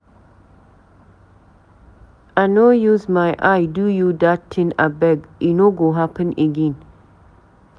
I no use my eye do you dat tin abeg, e no go happen again.